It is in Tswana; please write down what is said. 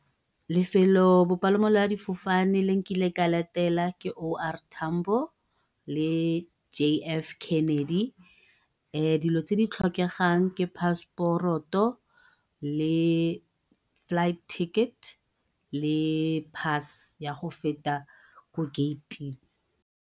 Lefelo bopalamo jwa difofane le nkileng ka le etela ke O R Tambo le J F Kennedy. dilo tse di tlhokegang ke paseporoto le flight ticket le pass ya go feta ko gate-ing.